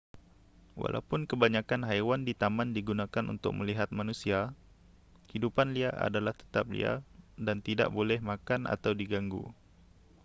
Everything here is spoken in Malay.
walaupun kebanyakan haiwan di taman digunakan untuk melihat manusia hidupan liar adalah tetap liar dan tidak boleh makan atau diganggu